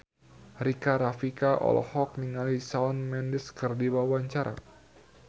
Rika Rafika olohok ningali Shawn Mendes keur diwawancara